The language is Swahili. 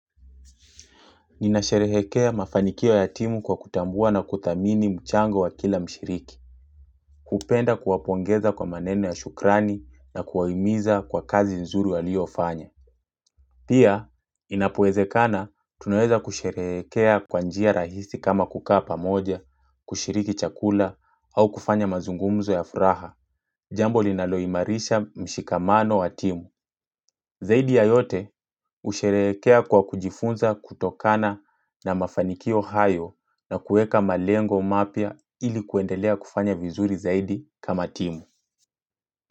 Ninasherehekea mafanikio ya timu kwa kutambua na kuthamini mchango wa kila mshiriki. Hupenda kuwapongeza kwa maneno ya shukrani na kuwahimiza kwa kazi nzuri walio fanya. Pia, inapo wezekana, tunaweza kusherehekea kwa njia rahisi kama kukaa pamoja, kushiriki chakula au kufanya mazungumzo ya furaha. Jambo linalo imarisha mshikamano wa timu Zaidi ya yote usherekea kwa kujifunza kutokana na mafanikio hayo na kueka malengo mapya ili kuendelea kufanya vizuri zaidi kama timu.